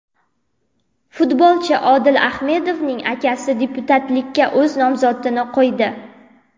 Futbolchi Odil Ahmedovning akasi deputatlikka o‘z nomzodini qo‘ydi .